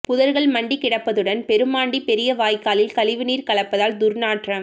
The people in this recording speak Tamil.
புதர்கள் மண்டி கிடப்பதுடன் பெருமாண்டி பெரிய வாய்க்காலில் கழிவுநீர் கலப்பதால் துர்நாற்றம்